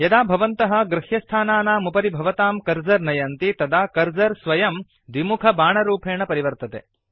यदा भवन्तः गृह्यस्थानानाम् उपरि भवतां कर्सर नयन्ति तदा कर्सर स्वयं द्विमुख बाणरूपेण परिवर्तते